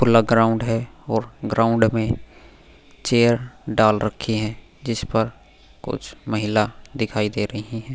खुला ग्राउंड है और ग्राउंड में चेयर डाल रखी हैं जिस पर कुछ महिला दिखाई दे रही हैं --